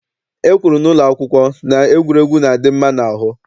E kwuru n'ụlọ akwụkwọ na egwuregwu na-adị mma n'ahụ.